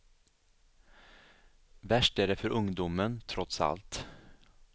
Värst är det för ungdomen trots allt.